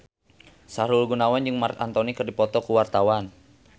Sahrul Gunawan jeung Marc Anthony keur dipoto ku wartawan